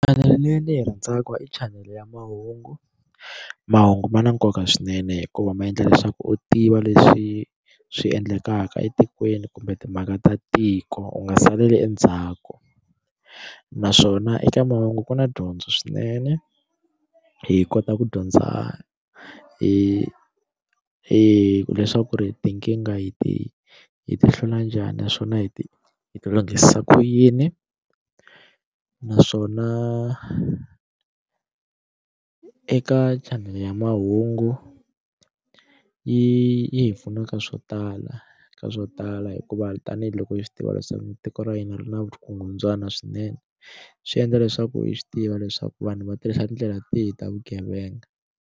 Chanele leyi ndzi yi rhandzaka i chanele ya mahungu mahungu ma na nkoka swinene hikuva ma endla leswaku u tiva leswi swi endlekaka etikweni kumbe timhaka ta tiko u nga saleli endzhaku naswona eka mahungu ku na dyondzo swinene hi kota ku dyondza hi hileswaku ri tinkingha hi ti hi ti hlula njhani naswona hi ti hi ti lunghisisa ku yini naswona eka chanele ya mahungu yi hi pfuna ka swo tala ka swo tala hikuva tanihiloko hi swi tiva leswaku tiko ra hina ri na vugungundzwana swinene swi endla leswaku yi swi tiva leswaku vanhu va tirhisa tindlela tihi ta vugevenga.